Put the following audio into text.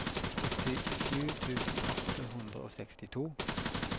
syttisju tusen åtte hundre og sekstito